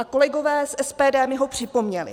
A kolegové z SPD mi ho připomněli.